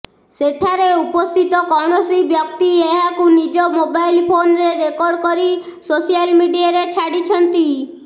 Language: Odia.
ସେଠାରେ ଉପସ୍ଥିତ କୌଣସି ବ୍ୟକ୍ତି ଏହାକୁ ନିଜ ମୋବାଇଲ୍ ଫୋନ୍ରେ ରେକର୍ଡ କରି ସୋସିଆଲ୍ ମିଡିଆରେ ଛାଡ଼ିଛନ୍ତି